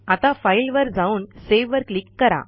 आता फाइल वर जाऊन Saveवर क्लिक करा